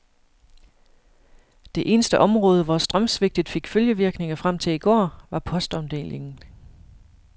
Det eneste område, hvor strømsvigtet fik følgevirkninger frem til i går, var postomdelingen.